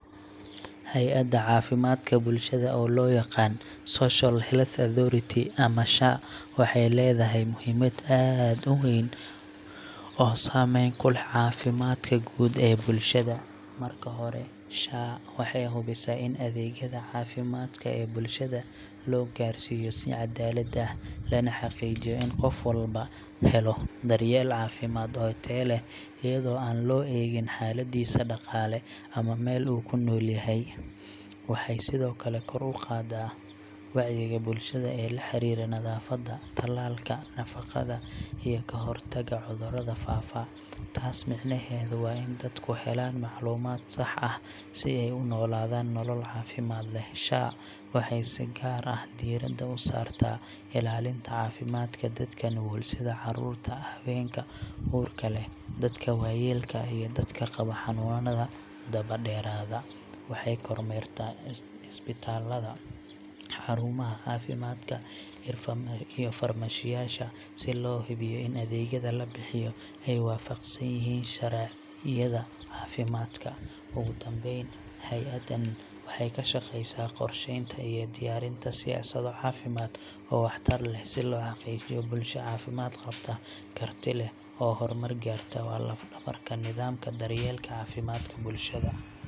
Hay’adda caafimaadka bulshada – oo loo yaqaan Social Health Authority, ama SHA waxay leedahay muhiimad aad u weyn oo saameyn ku leh caafimaadka guud ee bulshada. Marka hore, SHA waxay hubisaa in adeegyada caafimaad ee bulshada loo gaarsiiyo si cadaalad ah, lana xaqiijiyo in qof walba helo daryeel caafimaad oo tayo leh, iyadoo aan loo eegin xaaladdiisa dhaqaale ama meel uu ku nool yahay. Waxay sidoo kale kor u qaadaa wacyiga bulshada ee la xiriira nadaafadda, tallaalka, nafaqada, iyo ka hortagga cudurrada faafa. Taas micnaheedu waa in dadku helaan macluumaad sax ah si ay u noolaadaan nolol caafimaad leh. SHA waxay si gaar ah diiradda u saartaa ilaalinta caafimaadka dadka nugul sida carruurta, haweenka uurka leh, dadka waayeelka ah, iyo dadka qaba xanuunada daba dheeraada. Waxay kormeertaa isbitaallada, xarumaha caafimaadka, iyo farmashiyeyaasha si loo hubiyo in adeegyada la bixiyo ay waafaqsan yihiin sharciyada caafimaadka. Ugu dambeyn, hay’addan waxay ka shaqeysaa qorsheynta iyo diyaarinta siyaasado caafimaad oo waxtar leh, si loo xaqiijiyo bulsho caafimaad qabta, karti leh, oo horumar gaarta. Waa laf-dhabarka nidaamka daryeelka caafimaadka bulshada.